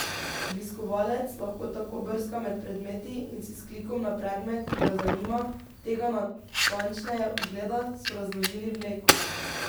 Obiskovalec lahko tako brska med predmeti in si s klikom na predmet, ki ga zanima, tega natančneje ogleda, so razložili v Leku.